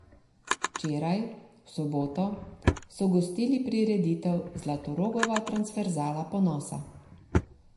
Včeraj, v soboto, so gostili prireditev Zlatorogova transverzala ponosa.